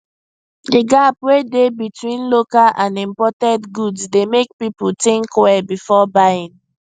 the gap wey dey between local and imported goods dey make people think well before buying